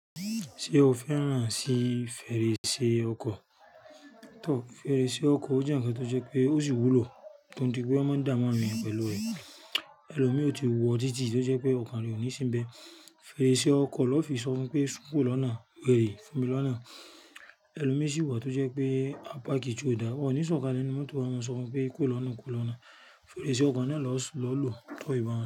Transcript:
Ṣé o fẹ́ rán sí fèrèsé ọkọ̀? Tọ, fèrèsé ọkọ̀ ó jẹ́ ǹkan tó jẹ́ pé ó sì wúlò tó di pé ó máa ń dàá mu awon eniyan pẹ̀lú ẹ̀. Ẹlòmíì ò ti wọ́ títì tó jẹ́ pé ọ̀kan re òní sínbẹ̀. Fèrèsé ọkọ̀ lọ fi sọ fun pé, "Sún kù ro lọ́nà, wèrè, fún mi lọ́nà." Ẹlòmíì sì wà tó jẹ́ pé ápaki tio da won oni sọ̀kalẹ̀ nínú mọ́tò a máa sọ fun pé, "Kúro lọ́nà, kúro lọ́nà." Fèrèsé ọkọ̀ náà lọ sùn lọ́lo tó ìbọn ẹ.